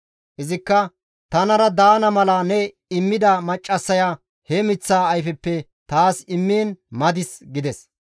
Izikka, «Tanara daana mala ne immida maccassaya he miththaa ayfeppe taas immiin madis» gides.